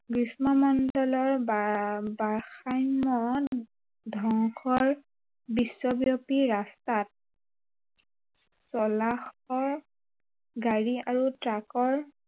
গ্ৰীস্ম মণ্ডলৰ বা ভাৰসম্য় ধ্বংসৰ বিশ্বব্য়াপী ৰাস্তাত চলা শ গাড়ী আৰু ট্ৰাকৰ